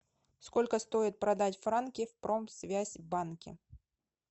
сколько стоит продать франки в промсвязьбанке